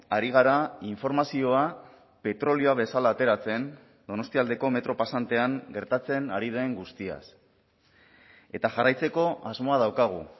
ari gara informazioa petrolioa bezala ateratzen donostialdeko metro pasantean gertatzen ari den guztiaz eta jarraitzeko asmoa daukagu